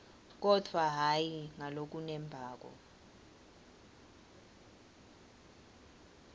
kodvwa hhayi ngalokunembako